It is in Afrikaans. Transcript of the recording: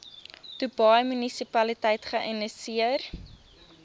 dubai munisipaliteit geïnisieer